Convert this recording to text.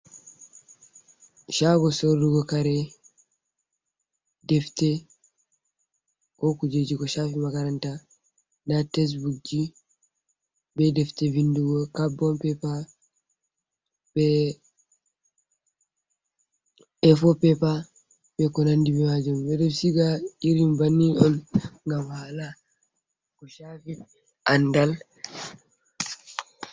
Shaago sorrugo kare defte, ko kujeji ko shafi makaranta, nda tesbuk ji be defte vindugo, kabon peepa, be efoo peepa, bee konandi bee maajum, ɓeɗo siga irin banni on ngam ko shaafi andal.